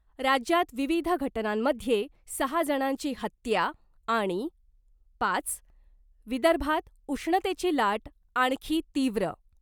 राज्यात विविध घटनांमध्ये सहा जणांची हत्या आणि पाच. विदर्भात उष्णतेची लाट आणखी तीव्र .